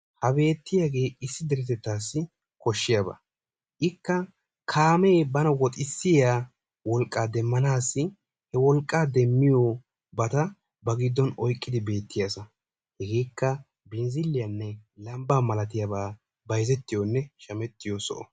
Ha beettiyagee issi deretettassi koshiyaaba. ikka kaame bana woxxissiya wolqqa demmanassi ba wolqqa demiyoobata ba giddon oyqqidi beettiyaasa hegeekka binzziliyaanne lambbaa malatiyaabaa bayzettiyoonne shammettiyoo soho.